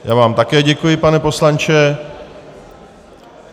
Já vám také děkuji, pane poslanče.